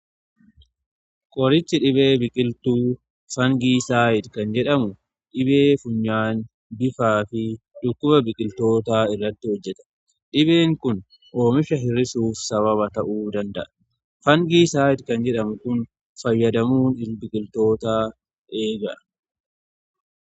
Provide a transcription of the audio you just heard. Qorichi dhibee biqiltuu fangii saanyii kan jedhamu dhibee funyaan bifaa fi dhukkuba biqiltoota irratti hojjeta. Dhibeen kun oomisha hir'isuuf sababa ta'uu danda'a. Fangii saanyi kan jedhamu kun fayyadamuu biqiltoota eega.